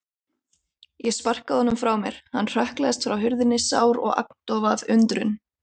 Ég sparkaði honum frá mér, hann hrökklaðist frá hurðinni, sár og agndofa af undrun.